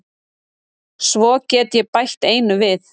Svo get ég bætt einu við.